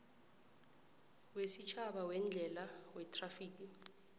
wesitjhaba weendlela wethrafigi